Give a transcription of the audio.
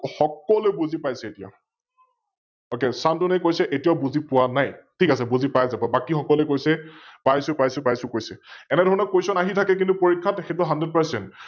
সকলোৱে বুজি পাইচে এতিয়া । Ok, শান্তনুৱে কৈছে এতিয়াও বুজি পোৱা নাই, ঠিক আছে, বুজি পাই যাব, বাকি সকলোৱে কৈছে পাইছো পাইছো পাইছো কৈছে । এনেধৰণৰ Question আহি থাকে কিন্তু পৰীক্ষাত সৈটো HundredPercent